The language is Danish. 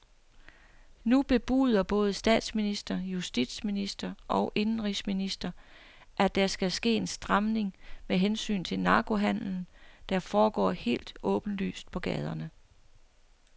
Nu bebuder både statsminister, justitsminister og indenrigsminister, at der skal ske en stramning med hensyn til narkohandelen, der foregår helt åbenlyst på gaderne.